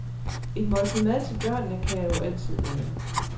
Et måltid mad til børnene kan jeg jo altid lave.